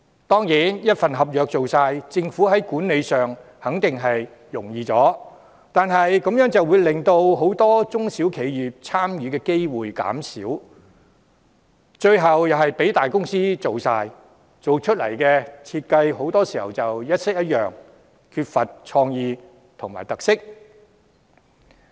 當然，由一份合約包辦，政府管理上肯定會較容易，但如此一來，很多中小企的參與機會便減少，最後又是由大公司承辦，工程設計很多時一式一樣，缺乏創意和特色。